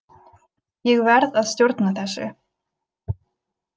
Ég verð að stjórna þessu.